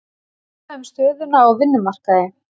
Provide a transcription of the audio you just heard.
Ræða um stöðuna á vinnumarkaði